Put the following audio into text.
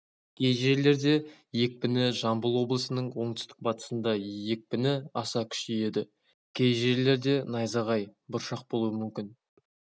кей жерлерде екпіні жамбыл облысының оңтүстік-батысында екпіпі аса күшейеді кей жерлерде найзағай бұршақ болуы мүмкін